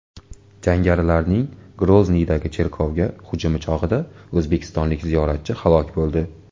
Jangarilarning Grozniydagi cherkovga hujumi chog‘ida o‘zbekistonlik ziyoratchi halok bo‘ldi.